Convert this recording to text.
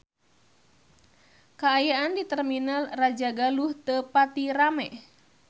Kaayaan di Terminal Rajagaluh teu pati rame